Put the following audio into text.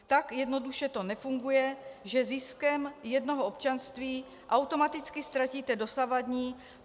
Tak jednoduše to nefunguje, že ziskem jednoho občanství automaticky ztratíte dosavadní.